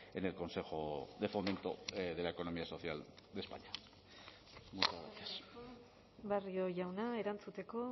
en el consejo de fomento de la economía social de españa muchas gracias eskerrik asko barrio jauna erantzuteko